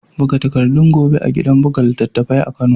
Buga takardun gobe a gidan buga littattafai na kano.